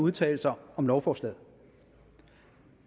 udtale sig om lovforslaget